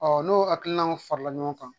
n'o hakilinaw farala ɲɔgɔn kan